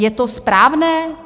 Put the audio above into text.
Je to správné?